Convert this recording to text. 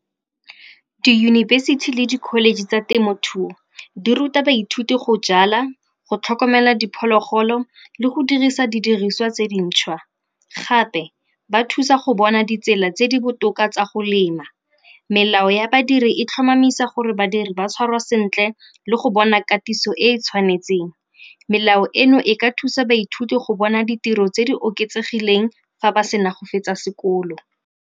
Diyunibesithi le di-college tsa temothuo di ruta baithuti go jala, go tlhokomela diphologolo le go dirisa didiriswa tse dintšhwa. Gape ba thusa go bona ditsela tse di botoka tsa go lema. Melao ya badiri e tlhomamisa gore badiri ba tshwarwa sentle le go bona katiso e e tshwanetseng. Melao eno e ka thusa baithuti go bona ditiro tse di oketsegileng fa ba sena go fetsa sekolo.